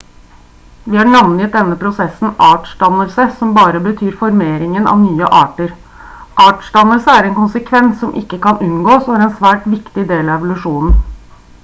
vi har navngitt denne prosessen artsdannelse som bare betyr formeringen av nye arter artsdannelse er en konsekvens som ikke kan unngås og er en svært viktig del av evolusjonen